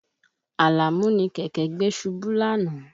Àlàmú ni kẹ̀kẹ́ gbé ṣubú lánàá